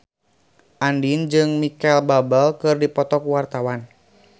Andien jeung Micheal Bubble keur dipoto ku wartawan